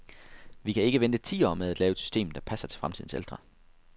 Vi kan ikke vente ti år med at lave et system, der passer til fremtidens ældre.